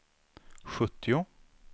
sjuttio